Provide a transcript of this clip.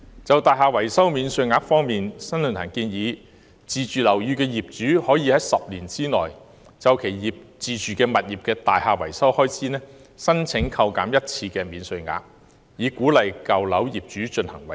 在"大廈維修免稅額"方面，新世紀論壇建議自住樓宇業主可以在10年內就其自住物業的大廈維修開支申請一次免稅額扣減，以鼓勵舊樓業主進行維修。